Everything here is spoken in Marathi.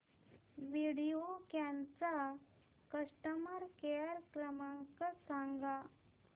व्हिडिओकॉन चा कस्टमर केअर क्रमांक सांगा